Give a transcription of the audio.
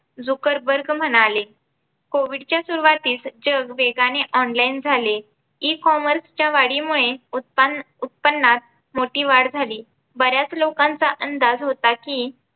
Zuckerberg म्हणाले Covid च्या सुरुवातीस जग वेगाने online झाले. Ecommerce च्या वाढीमुळे उत्पन्न उत्पन्नात मोठी वाढ झाली. बऱ्याच लोकांचा अंदाज होता कि